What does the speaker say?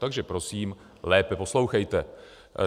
Takže prosím lépe poslouchejte.